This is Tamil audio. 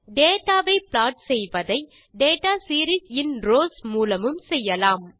டேட்டா வை ப்ளாட் செய்வதை டேட்டா சீரீஸ் இன் ரவ்ஸ் மூலமும் செய்யலாம்